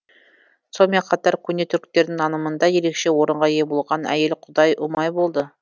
сонымен қатар көне түріктердің нанымында ерекше орынға ие болған әйел құдай ұмай болды